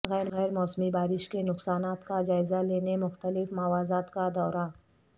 غیر موسمی بارش کے نقصانات کا جائزہ لینے مختلف مواضعات کا دورہ